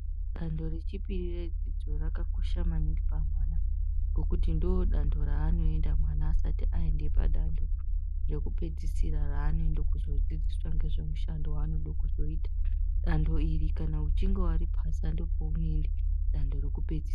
Danto rechipiri redzidzo rakakosha maningi pamwana ngekuti ndodanto raanoenda mwana asati aende padanto rekupedzisira raanoende kuzodzidziswa ngezve mushando waanode kuzoita danto iri kana uchinge waripasa ndopaunoende kudanto rekupedzisira .